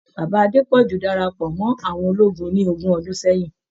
Bàbá Adepọju darapọ̀ mọ́ àwọn ológun ní ogún ọdún sẹyìn.